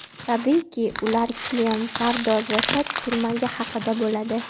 Tabiiyki, ular kiyim, pardoz va soch turmagi haqida bo‘ladi.